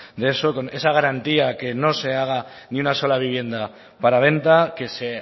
de eso con esa garantía que no se haga ni una sola vivienda para venta que se